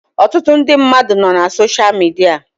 Ọtụtụ ndị mmadụ nọ na sosha midia